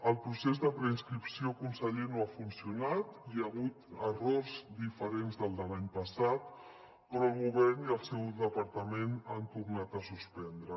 el procés de preinscripció conseller no ha funcionat hi ha hagut errors diferents dels de l’any passat però el govern i el seu departament han tornat a suspendre